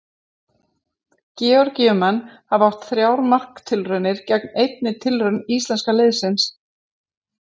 Georgíumenn hafa átt þrjár marktilraunir gegn einni tilraun íslenska liðsins.